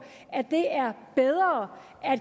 at det er bedre at